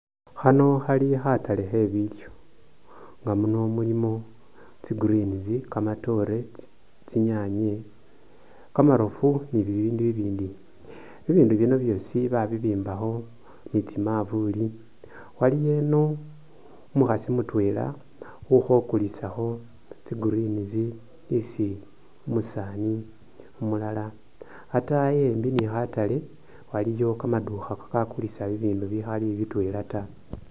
Khano khali kataale khebilyo nga muno mulimo tsigreens, kamatoore, tsinyanye, kamaroofu ni bibindu i'bindi i'bindu bino byoosi babibimbakho ni tsimavuli waliyo eno umukhaasi mutwela ukhokulisakho tsigreens isi umusaani umulala ataayi e'mbi ni khataale waliyo kamadukha kakakulisa bibindu bikhali bitwela ta